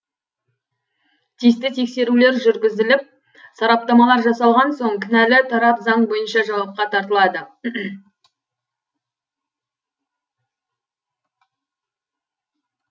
тиісті тексерулер жүргізіліп сараптамалар жасалған соң кінәлі тарап заң бойынша жауапқа тартылады